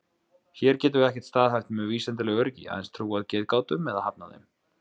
Hér getum við ekkert staðhæft með vísindalegu öryggi, aðeins trúað getgátum eða hafnað þeim.